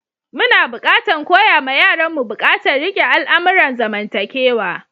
Muna buƙatan koya ma yaran mu bukatan rike al'amuran zamantakewa.